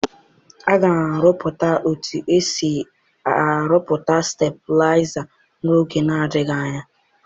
Aga m amụta otu esi arụpụta steblaịza n'oge adịghị anya.